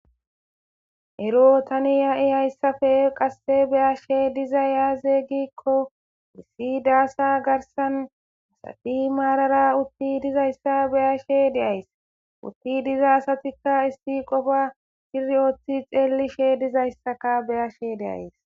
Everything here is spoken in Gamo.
Eroo thanii hay heysape qassi be7ashe dizay aazee giikko issi yiida asaa garssan asathi maarara uththi dizayssa be7ashe de7ays; uththi diza asathikka asathi gobaa xilli ooththi xeellishe dizayssaka be7ashe de7ays.